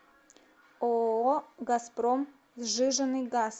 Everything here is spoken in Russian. ооо газпром сжиженный газ